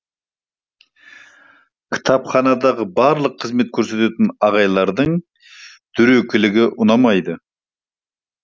кітапханадағы барлық қызмет көрсететін апайлардың дөрекілігі ұнамайды